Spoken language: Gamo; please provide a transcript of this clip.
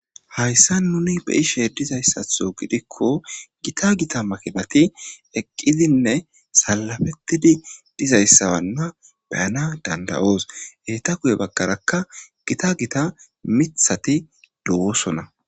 hayssa nuni be ishe dizayssatho gidikko gita gita makebati eqqidinne salabettidi dizayssawanna beyana dandayoos heeta kuye bagkarakka gita gita mithati duwosona